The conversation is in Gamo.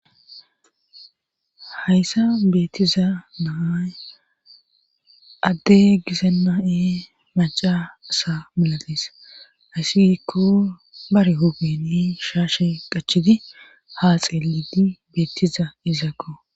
hayssa beettiza naay adde gisenna7e maca asa milatees aysi gikko bare hogni shaashe qachidi ha xeelidi beettiza izaakko